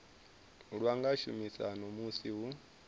lwa nga shumiswa musi hu